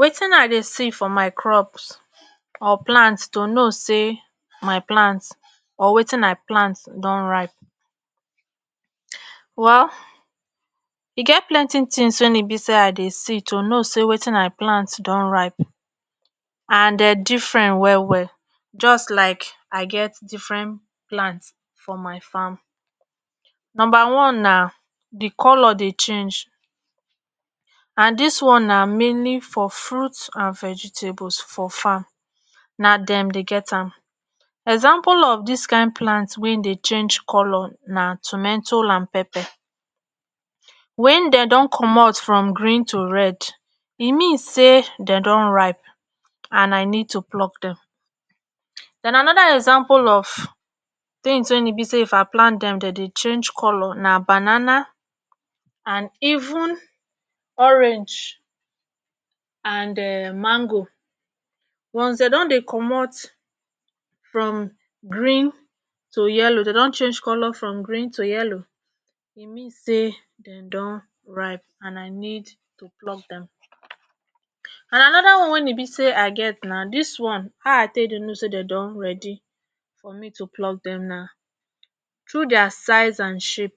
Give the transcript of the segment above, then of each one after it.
wetin i dey see for my crops or plants to know say my plants or wetin i plant don ripe wau e get plenti tins wey e be say i dey see to no say wetin i plant don ripe and de different well well just like i get different plants for my farm numba one na di color dey change and this one na minli for fruits and vegetables for farm na dem dey get am example of this kind plants wein dey change color na tometo and pepper wen dey don comot from green to red e mean say dey don ripe and I need to pluck them den anoda example of tins wein be say if I plant them den dey change color na banana and even orange and um mango once den don dey comot from green to yellow dey don change color from green to yellow e mean say Dem don ripe and I need to plump them and anoda one wein e be say i get na did one how I take dey no say dey don ready for me to pluck them na tru dia size and shape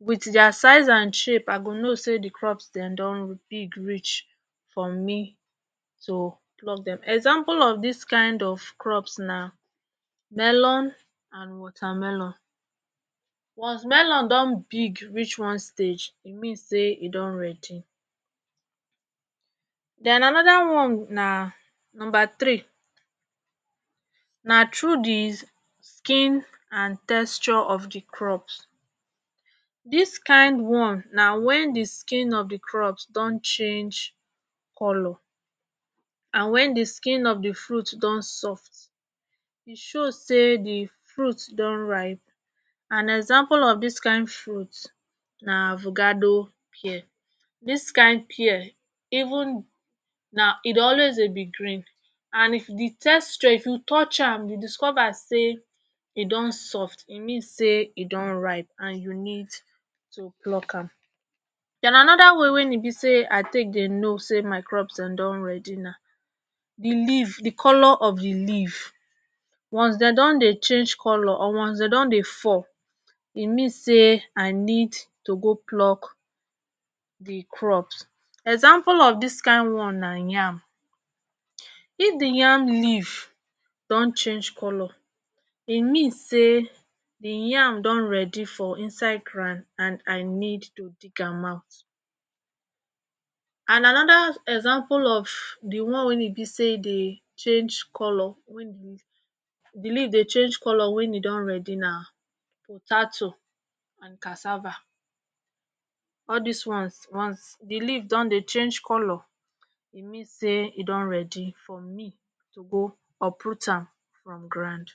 wit dia size and shape I go know say the crops dem don big reach for me to pluck Dem examples of dis kind of crops na melon and watermelon once melon don big reach one stage e mean say e don ready then anoda one na nomba tiri na tru the skin and texture of the crops dis kind one na wen di skin of di crops don change color and wen di skin of di fruit don soft e show say di fruit don ripe an example of dis kind fruit na avocado pear dis kind pear even na e dey always dey be green and if di texture if you touch am you discover say e don soft e mean say e don ripe and you need to pluck am den anoda way wen e be say I take dey no say my crops den don ready na lif di color of the leave once de don dey change color or de don dey fall e mean say I need to go pluck di crops example of dis kind one na yam if di yam leave don change color e mean say di yam don ready for inside grand and I need to dig am out and anoda example of di one wen e be say dey change color wen e be say di leave dey change color wen e don ready na tatu and casava all dis ones once di leave don dey change color e mean say e don ready for me to go uproot am from grand